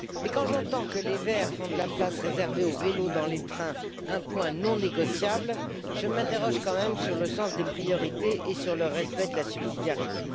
Mais quand j'entends que les Verts font de la place réservée aux vélos dans les trains un point non négociable, je m'interroge quand même sur le sens des priorités et sur le respect de la subsidiarité.